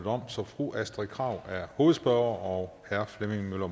om så fru astrid krag er hovedspørger og herre flemming møller